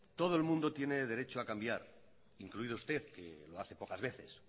todo el mundo tiene derecho a cambiar incluido usted que lo hace pocas veces